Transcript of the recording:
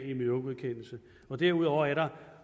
miljøgodkendelse derudover er der